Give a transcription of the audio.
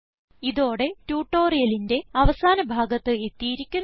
ഇതോടെ ട്യൂട്ടോറിയലിന്റെ അവസാന ഭാഗത്ത് എത്തിയിരിക്കുന്നു